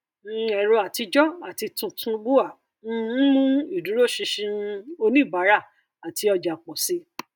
um ẹrọ àtijọ àti tuntun bua um ń mú ìdúróṣinṣin um oníbàárà àti ọjà pọ síi